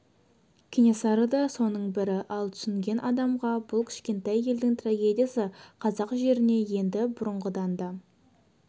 кенесары да соның бірі ал түсінген адамға бұл кішкентай елдің трагедиясы қазақ жеріне енді бұрынғыдан да